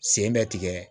Sen bɛ tigɛ